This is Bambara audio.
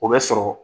O bɛ sɔrɔ